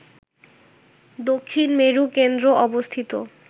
দক্ষিণ মেরু কেন্দ্র অবস্থিত